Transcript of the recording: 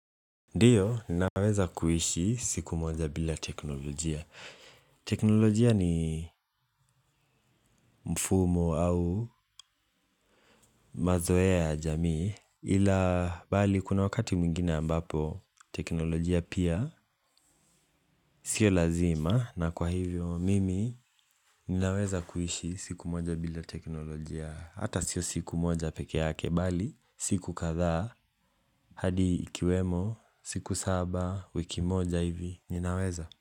Ndio ninaweza kuishi siku moja bila teknolojia. Teknolojia ni mfumo au mazoea ya jamii ila bali kuna wakati mwingine ambapo teknolojia pia sio lazima na kwa hivyo mimi ninaweza kuishi siku moja bila teknolojia hata sio siku moja pekee yake bali siku kadhaa hadi ikiwemo siku saba wiki moja hivi ninaweza.